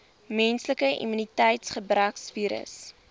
menslike immuniteitsgebrekvirus